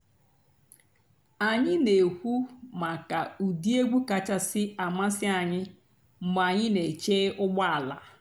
ányị́ nà-èkwú màkà ụ́dị́ ègwú kàchàsị́ àmásị́ ànyị́ mg̀bé ànyị́ nà-èché ụ́gbọ́ àlà.